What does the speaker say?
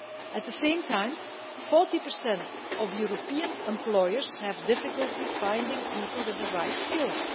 At the same time, 40 of European employers have difficulty finding people with the right skills.